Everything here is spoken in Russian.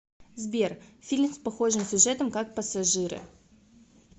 сбер фильм с похожим сюжетом как пассажиры